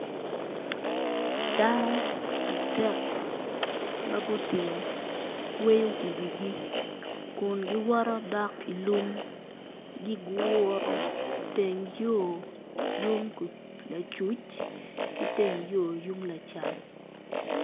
Dano adek ma gutingo kweyo iwigi Kun guwoto gidok ilung giguro teng yo yung acuc ki teng yo yung acam